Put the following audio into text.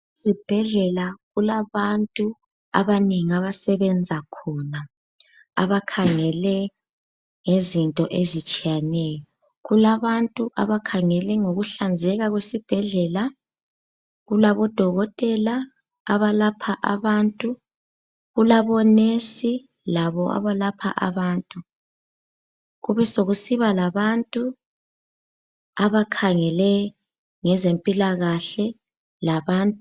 Ezibhedlela kulabantu abanengi abasebenza khona abakhangele ngezinto ezitshiyeneyo. Kulabantu abakhangele ngokuhlanzeka kwesibhedlela, kulabodokotela abalapha abantu, kulabonesi labo abalapha abantu. Kubesokusiba labantu abakhangele ngezempilakahle labantu.